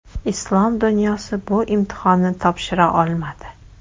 Islom dunyosi bu imtihonni topshira olmadi.